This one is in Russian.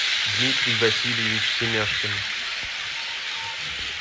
дмитрий васильевич семяшкин